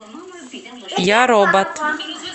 я робот